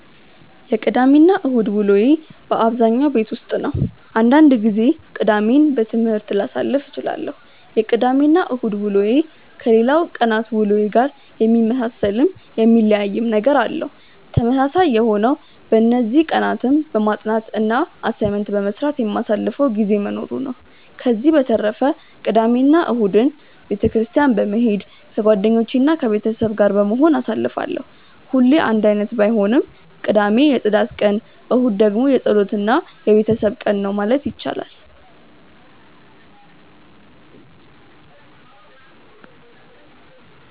የቅዳሜ እና እሁድ ውሎዬ በአብዛኛው ቤት ውስጥ ነው። አንዳንድ ጊዜ ቅዳሜን በትምህርት ላሳልፍ እችላለሁ። የቅዳሜ እና እሁድ ውሎዬ ከሌላው ቀናት ውሎዬ ጋር የሚመሳሰልም የሚለያይም ነገር አለው። ተመሳሳይ የሆነው በእነዚህ ቀናትም በማጥናት እና አሳይመንት በመስራት የማሳልፈው ጊዜ መኖሩ ነው። ከዚህ በተረፈ ቅዳሜ እና እሁድን ቤተ ክርስትያን በመሄድ ከጓደኞቼ እና ከቤተሰብ ጋር በመሆን አሳልፋለሁ። ሁሌ አንድ አይነት ባይሆንም ቅዳሜ የፅዳት ቀን እሁድ ደግሞ የፀሎት እና የቤተሰብ ቀን ነው ማለት ይቻላል።